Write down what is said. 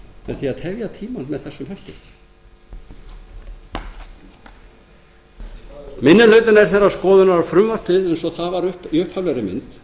með því að tefja tímann með þessum hætti minni hlutinn telur að frumvarpið í upphaflegri